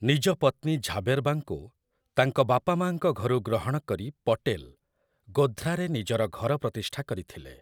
ନିଜ ପତ୍ନୀ ଝାବେରବାଙ୍କୁ ତାଙ୍କ ବାପାମାଆଙ୍କ ଘରୁ ଗ୍ରହଣକରି ପଟେଲ୍‌ ଗୋଧ୍ରାରେ ନିଜର ଘର ପ୍ରତିଷ୍ଠା କରିଥିଲେ ।